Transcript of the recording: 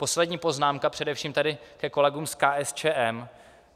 Poslední poznámka především tady ke kolegům z KSČM.